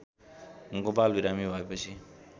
गोपाल बिरामी भएपछि